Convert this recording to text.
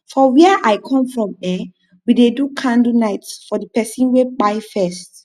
for wia i kom from eh we dey do candlenite for di person wey kpai first